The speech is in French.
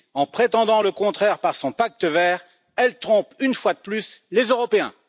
En prétendant le contraire par son pacte vert, elle trompe une fois de plus les Européens.